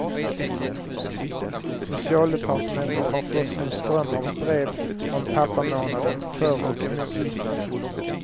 Socialdepartementet har fått en ström av brev om pappamånaden, för och emot.